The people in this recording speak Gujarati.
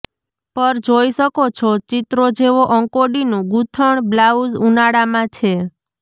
પર જોઈ શકો છો ચિત્રો જેવો અંકોડીનું ગૂથણ બ્લાઉઝ ઉનાળામાં છે